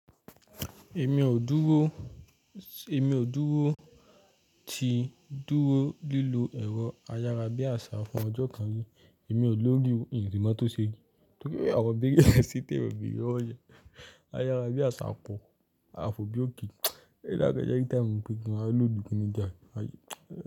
Èmi ò dúró, ti dúró lílo ẹ̀rọ ayára bí àṣá fún ọjọ́ kan rí, èmi ò lórí ò, n si mo tó ṣe rí. Nítorí pé bíríyà síta ẹ̀bi rẹ wọ̀nyẹn. Ayára bí àṣá kọ̀, a fò bí òkè. Ẹ́ dáàká jẹ́ kí táì mù pé kí n máa lòdì kí inú ìjà yẹn.